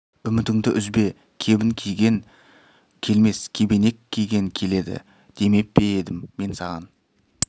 үмітіңді үзбе кебін киген келмес кебенек киген келеді демеп пе едім мен саған